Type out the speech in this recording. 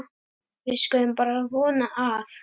Við skulum bara vona að